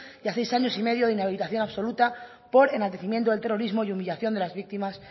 y a seis años y medio de inhabilitación absoluta por enaltecimiento del terrorismo y humillación de las víctimas